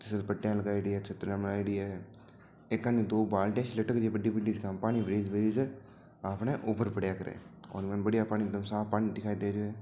पटिया लगायेड़ी छत्रिया बनायेड़ी है एक कानी दो बाल्टियां लटक री बड़ी बड़ी हैजिका पाणी भरी जा है आपने ऊपर पड़ा करे है और बढ़िया एक दम साफ पानी दिखाय दे रहा है।